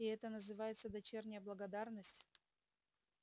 и это называется дочерняя благодарность